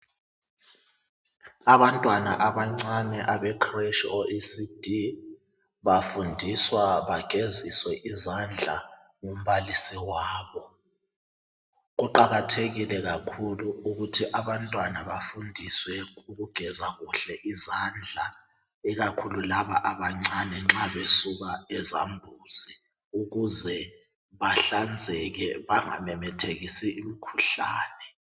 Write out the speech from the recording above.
Abantwana abancane abecretch oECD bafundiswa bageziswe izandla ngumbalisi wabo. Kuqakathekile kakhulu ukuthi abantwana bafundiswe ukugeza kuhle izandla ikakhulu laba abancane nxa besuka ezambuzi ukuze bahlanzeke bangamemethekisi imikhuhlane.